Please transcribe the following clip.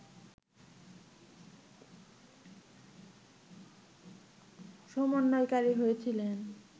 সমন্বয়কারী হয়েছিলেন